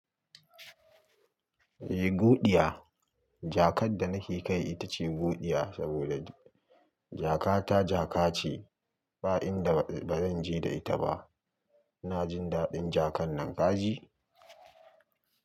Eh, Goɗiya. Jaka da nake kai ita ce Guɗiya saboda jaka ta jaka ce, ba inda bazan je da ita ba. Ina jin daɗin jaka nan kaji?